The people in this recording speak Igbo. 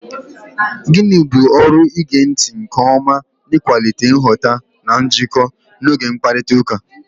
Gịnị bụ ọrụ ige ntị nke ọma n'ịkwalite nghọta na njikọ n'oge mkparịta ụka?